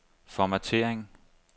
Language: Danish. formattering